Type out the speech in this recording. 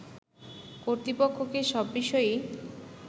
কর্তৃপক্ষকে সব বিষয়েই